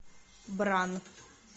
бран